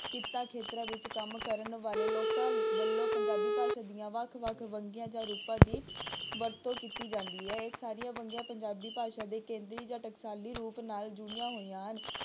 ਕਿੱਤਾ ਖੇਤਰ ਵਿੱਚ ਕੰਮ ਕਰਨ ਵਾਲੇ ਲੋਕਾਂ ਵੱਲੋਂ ਪੰਜਾਬੀ ਭਾਸ਼ਾ ਦੀਆਂ ਵੱਖ ਵੱਖ ਵੰਨਗੀਆਂ ਜਾਂ ਰੂਪਾਂ ਦੀ ਵਰਤੋਂ ਕੀਤੀ ਜਾਂਦੀ ਹੈ, ਇਹ ਸਾਰੀਆਂ ਵੰਨਗੀਆਂ ਪੰਜਾਬੀ ਭਾਸ਼ਾ ਦੇ ਕੇਂਦਰੀ ਜਾਂ ਟਕਸਾਲੀ ਰੂਪ ਨਾਲ ਜੁੜੀਆਂ ਹੋਈਆਂ ਹਨ।